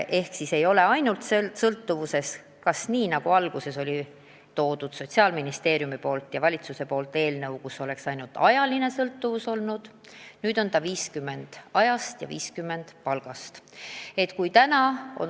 Algne Sotsiaalministeeriumi ja valitsuse esitatud eelnõu nägi ette ainult sõltuvuse tööstaažist, nüüdne variant näeb ette, et see sõltub 50% tööajast ja 50% palgast.